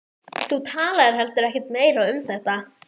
Þú talaðir heldur ekkert meira um þetta.